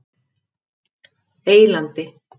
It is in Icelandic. Eylandi